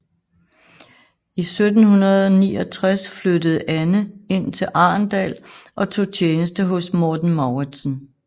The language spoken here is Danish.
I 1769 flyttede Anne ind til Arendal og tog tjeneste hos Morten Mauritzen